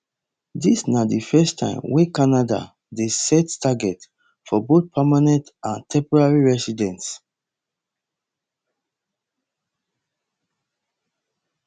dis na di first time wey canada dey set target for both permanent and temporary residents